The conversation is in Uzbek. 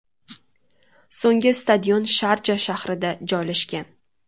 So‘nggi stadion Sharja shahrida joylashgan.